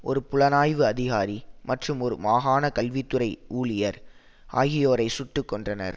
ஒரு புலனாய்வு அதிகாரி மற்றும் ஒரு மாகாண கல்வி துறை ஊழியர் ஆகியோரை சுட்டு கொன்றனர்